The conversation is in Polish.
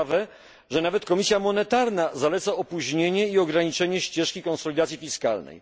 Ciekawe, że nawet Komisja Monetarna zaleca opóźnienie i ograniczenie ścieżki konsolidacji fiskalnej.